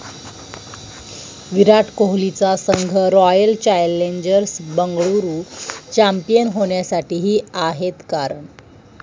विराट कोहलीचा संघ Royal Challengers Bengaluru champion होण्यासाठी 'ही' आहेत कारणं